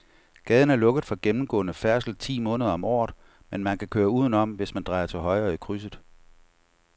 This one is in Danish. Gaden er lukket for gennemgående færdsel ti måneder om året, men man kan køre udenom, hvis man drejer til højre i krydset.